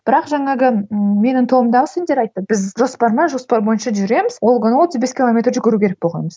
бірақ жаңағы менің тобымдағы студенттер айтты біз жоспар ма жоспар бойынша жүреміз ол күні отыз бес километр жүгіру керек болғанбыз